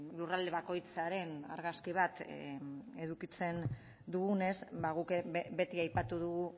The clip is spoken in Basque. lurralde bakoitzaren argazki bat edukitzen dugunez guk beti aipatu dugu